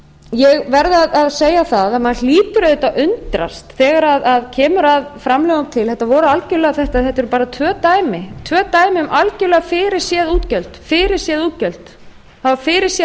ég verð að segja það að maður hlýtur auðvitað að undrast þegar kemur að framlögum til þetta voru algjörlega þetta eru bara tvö dæmi um algjörlega fyrirséð útgjöld það var fyrirséð að